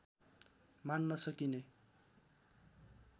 मान्न सकिने